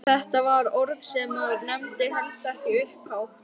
Þetta var orð sem maður nefndi helst ekki upphátt!